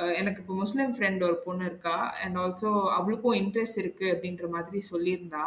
அஹ் எனக்கு இப்ப Muslim friend ஒரு பொண்ணு இருக்கா and also அவளுக்கும interest இருக்கு அப்டிங்குற மாதிரி சொல்லிருந்தா